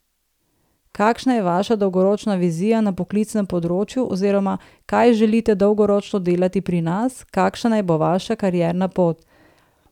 Kakšna je vaša dolgoročna vizija na poklicnem področju oziroma kaj želite dolgoročno delati pri nas, kakšna naj bo vaša karierna pot?